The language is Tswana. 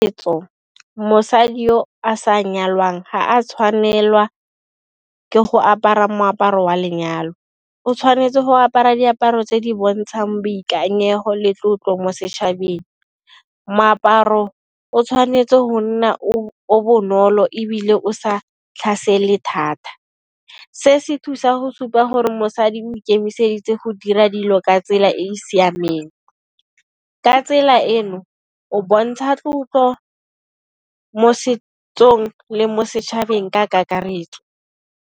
Setso mosadi yo a sa nyalwang ga a tshwanelwa ke go apara moaparo wa lenyalo, o tshwanetse go apara diaparo tse di bontshang boikanyego le tlotlo mo setšhabeng. Moaparo o tshwanetse go nna o bonolo ebile o sa tlhasele thata, se se thusa go supa gore mosadi o ikemiseditse go di ira dilo ka tsela e e siameng. Ka tsela eno o bontsha tlotlo mo setsong le mo setšhabeng ka kakaretso.